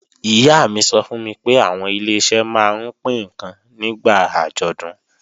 Ìyá mi sọ fún mi pé àwọn Ileṣẹ́ máa ń pín ǹkan nígbà àjọ̀dún